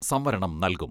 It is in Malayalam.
സംവരണം നൽകും.